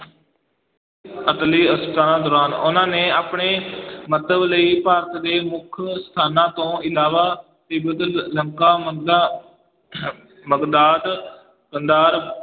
ਅਸਲੀ ਦੌਰਾਨ ਉਹਨਾਂ ਨੇ ਆਪਣੇ ਮੰਤਵ ਲਈ ਭਾਰਤ ਦੇ ਮੁੱਖ ਸਥਾਨਾਂ ਤੋਂ ਇਲਾਵਾ ਤਿੱਬਤ, ਲ~ ਲੰਕਾ, ਮੱਕਾ ਬਗਦਾਦ, ਕੰਧਾਰ,